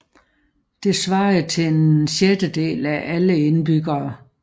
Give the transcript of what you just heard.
Det svarede til en sjettedel af alle indbyggere